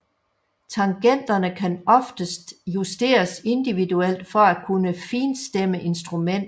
Tangenterne kan oftest justeres indiviudelt for at kunne finstemme instrumentnet